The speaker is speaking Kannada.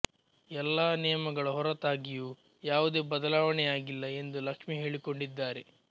ಎಲ್ಲಾ ನಿಯಮಗಳ ಹೊರತಾಗಿಯೂ ಯಾವುದೇ ಬದಲಾವಣೆಯಾಗಿಲ್ಲ ಎಂದು ಲಕ್ಷ್ಮಿ ಹೇಳಿಕೊಂಡಿದ್ದಾರೆ